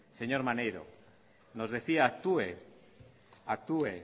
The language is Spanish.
señor maneiro decía actúe